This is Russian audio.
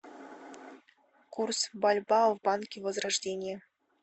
курс бальбоа в банке возрождение